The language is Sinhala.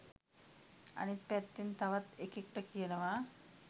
අනිත් පැත්තෙන් තවත් එකෙක්ට කියනවා